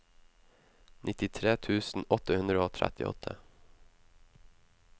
nittitre tusen åtte hundre og trettiåtte